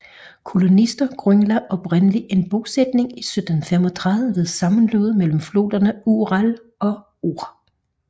Kolonister grundlagde oprindelig en bosætning i 1735 ved sammenløbet mellem floderne Ural og Or